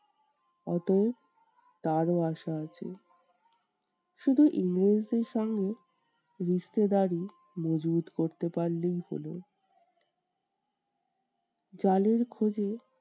অতএব তারও আশা আছে। শুধু ইংরেজদের সঙ্গে মজবুত করতে পারলেই হলো। চালের খোঁজে